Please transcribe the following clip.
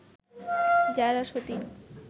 যারা সতিন